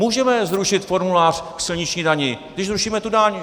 Můžeme zrušit formulář k silniční dani - když zrušíme tu daň!